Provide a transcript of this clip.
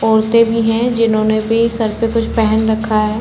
औरते भी हैं जिन्होंने भी सर पे कुछ पहन रखा है।